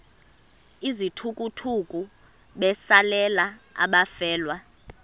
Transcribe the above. izithukuthuku besalela abafelwa